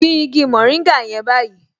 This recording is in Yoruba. Gbin igi mòríngà yẹn báyìí